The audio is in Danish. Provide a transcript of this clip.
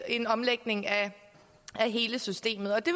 en omlægning af hele systemet og det